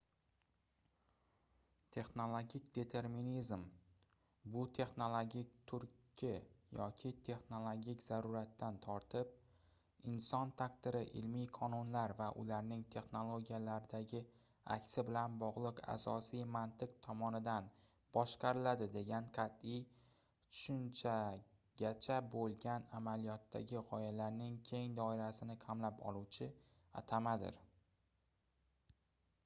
texnologik determinizm bu texnologik turtki yoki texnologik zaruratdan tortib inson taqdiri ilmiy qonunlar va ularning texnologiyalardagi aksi bilan bogʻliq asosiy mantiq tomonidan boshqariladi degan qatʼiy tushunchagacha boʻlgan amaliyotdagi gʻoyalarning keng doirasini qamrab oluvchi atamadir